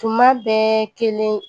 Tuma bɛɛ kelen